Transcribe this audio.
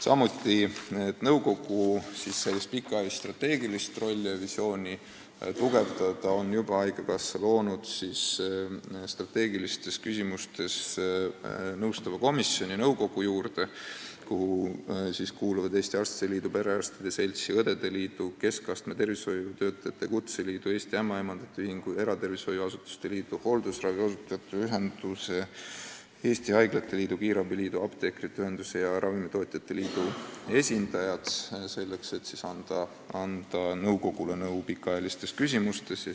Selleks, et nõukogu pikaajalist strateegilist visiooni tugevdada, on haigekassa juba loonud nõukogu juurde strateegilistes küsimustes nõustava komisjoni, kuhu kuuluvad Eesti Arstide Liidu, Eesti Perearstide Seltsi, Eesti Õdede Liidu, Eesti Keskastme Tervishoiutöötajate Kutseliidu, Eesti Ämmaemandate Ühingu, Eesti Eratervishoiuasutuste Liidu, Hooldusravi Osutajate Ühenduse, Eesti Haiglate Liidu, Eesti Kiirabi Liidu, Eesti Apteekide Ühenduse ja Ravimitootjate Liidu esindajad.